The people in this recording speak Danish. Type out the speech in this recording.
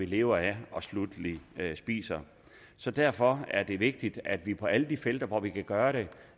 lever af og sluttelig spiser så derfor er det vigtigt at vi på alle de felter hvor vi kan gøre det